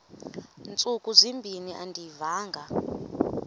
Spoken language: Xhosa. ntsuku zimbin andiyivanga